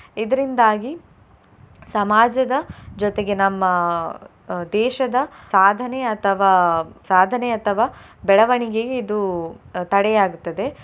ಇದ್ರಿಂದಾಗಿ ಸಮಾಜದ ಜೊತೆಗೆ ನಮ್ಮ ಅಹ್ ದೇಶದ ಸಾಧನೆ ಅಥವಾ ಸಾಧನೆ ಅಥವಾ ಬೆಳವಣಿಗೆಗೆ ಇದು ಅಹ್ ತಡೆಯಾಗ್ತದೆ.